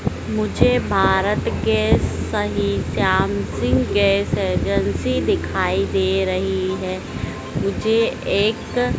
मुझे भारत गैस सही Shyam Singh gas agency दिखाई दे रही है मुझे एक--